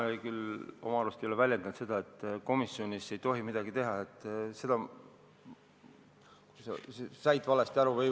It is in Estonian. Ma küll oma arust ei ole väljendanud seda, et komisjonis ei tohi midagi teha, sellest said sa valesti aru.